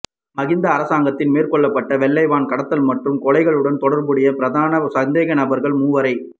மஹிந்த அரசாங்கத்தில் மேற்கொள்ளப்பட்ட வெள்ளை வான் கடத்தல் மற்றும் கொலைகளுடன் தொடர்புடைய பிரதான சந்தேகநபர்கள் மூவரை